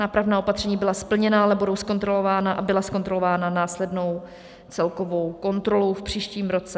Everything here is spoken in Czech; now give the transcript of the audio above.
Nápravná opatření byla splněna, ale budou zkontrolována a byla zkontrolována následnou celkovou kontrolou v příštím roce.